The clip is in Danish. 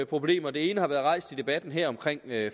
problemer det ene har været rejst i debatten her omkring